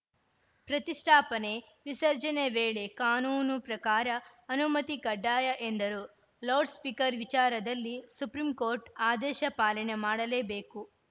ಪ್ರತಿಷ್ಟಾಪನೆ ವಿಸರ್ಜನೆ ವೇಳೆ ಕಾನೂನು ಪ್ರಕಾರ ಅನುಮತಿ ಕಡ್ಡಾಯ ಎಂದರು ಲೌಡ್‌ ಸ್ಪೀಕರ್‌ ವಿಚಾರದಲ್ಲಿ ಸುಪ್ರೀಂ ಕೋರ್ಟ್‌ ಆದೇಶ ಪಾಲನೆ ಮಾಡಲೇಬೇಕು